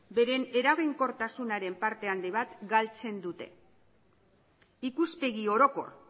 beren eraginkortasunaren parte handi bat galtzen dute ikuspegi orokor